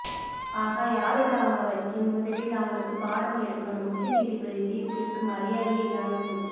ஆஹா யாருடா அவன் வக்கீல் முதலில் அவனுக்கு பாடம் எடுக்கணும் உச்ச நீதிபதி தீர்ப்பிற்கு மரியாதையே இல்லாம போச்சு